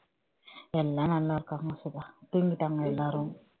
எல்லாம் நல்லா இருக்காங்க சுதா தூங்கிட்டாங்க எல்லாரும்